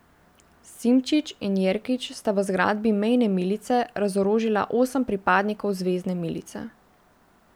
Simčič in Jerkič sta v zgradbi mejne milice razorožila osem pripadnikov zvezne milice.